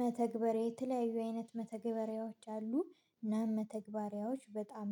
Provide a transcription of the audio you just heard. መተግበሪያ የተለያዩ አይነት መተግበሪያዎች አሉ እና መተግበሪያዎች በጣም